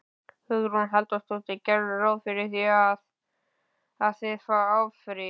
Hugrún Halldórsdóttir: Gerirðu ráð fyrir því að, að þið áfrýið?